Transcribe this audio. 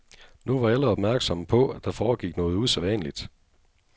Nu var alle opmærksomme på, at der foregik noget usædvanligt.